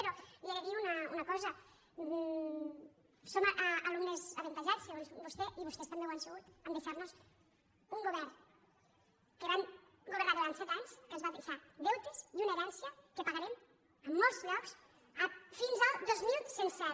però li he dir una cosa som alumnes avantatjats segons vostè i vostès també ho han sigut a deixar·nos un govern que van go·vernar durant set anys que ens va deixar deutes i una herència que pagarem en molts llocs fins al dos mil cent i set